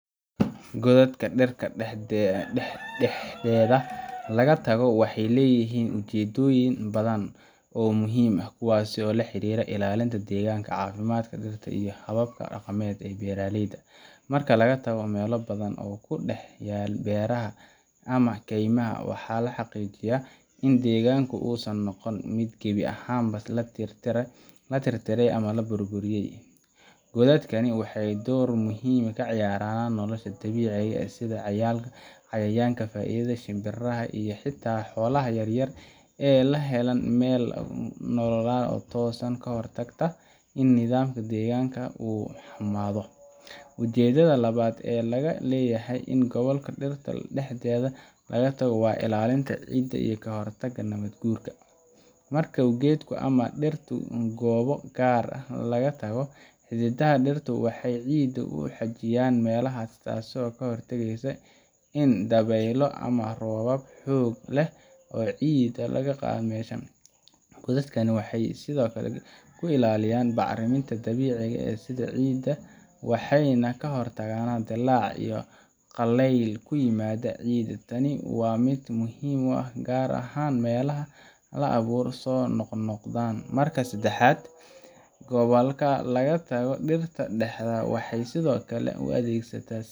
Goodadka dhirta dhexdeeda laga tago waxay leeyihiin ujeedooyin badan oo muhiim ah, kuwaas oo la xiriira ilaalinta deegaanka, caafimaadka dhirta, iyo hababka dhaqameed ee beeralayda. Marka laga tago meelo bannaan oo ku dhex yaal beeraha ama keymaha, waxaa la xaqiijinayaa in deegaanku uusan noqon mid gebi ahaanba la tirtiray ama la burburiyay. Goodadkani waxay door muhiim ah ka ciyaaraan in nolosha dabiiciga ah, sida cayayaanka faa’iidada leh, shimbiraha, iyo xitaa xoolaha yar yar ay helaan meel ay ku noolaadaan, taasoo ka hortagta in nidaamka deegaanka uu xumaado. Ujeedada labaad ee laga leeyahay in goodadka dhirta dhexda laga tago waa ilaalinta ciidda iyo ka hortagga nabaad guurka. Marka geedo ama dhir goobo gaar ah laga tago, xididdada dhirtu waxay ciidda ku xajiyaan meelahaas, taasoo ka hortagaysa in dabaylo ama roobab xoog leh ay ciidda ka qaadaan meesha. Goodadkani waxay sidaa ku ilaalinayaan bacriminta dabiiciga ah ee ciidda, waxayna ka hortagaan dillaac iyo qallayl ku yimaada ciidda. Tani waa mid aad muhiim u ah gaar ahaan meelaha ay abaaruhu soo noqnoqdaan. Marka saddexaad, goodadka laga tago dhirta dhexda waxay sidoo kale u adeegsata.